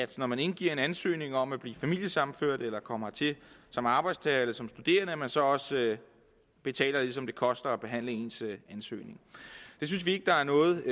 når man indgiver en ansøgning om at blive familiesammenført eller komme hertil som arbejdstager eller som studerende så også betaler det som det koster at behandle ens ansøgning det synes vi ikke der er noget